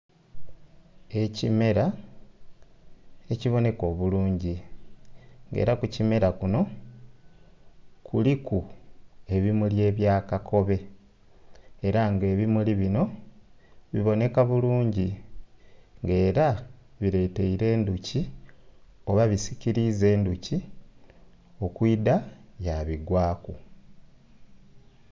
Ekimera ekibonheka obulungi, era ku kimera kuno kuliku ebimuli ebya kakobe, era nga ebimuli binho bibonheka bulungi. Ng'era bileteire endhuki oba bisikiliiza endhuki okwidha yabigwaaku.